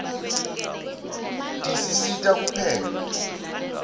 tisisita kupheka